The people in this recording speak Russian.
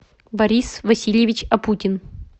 борис васильевич опутин